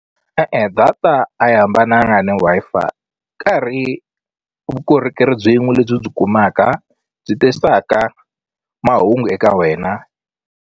E-e data a yi hambananga ni Wi-Fi ka ha ri vukorhokeri byin'we lebyi u byi kumaka byi tisaka mahungu eka wena.